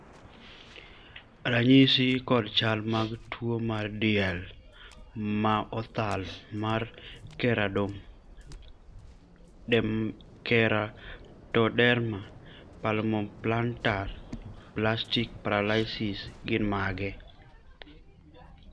ranyisi kod chal mag tuo mar diel ma othal mar Keratoderma palmoplantar spastic paralysis gin mage?